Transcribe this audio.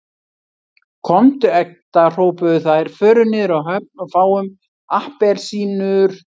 Komdu Edda hrópuðu þær, förum niður á höfn og fáum APPELSÍNUR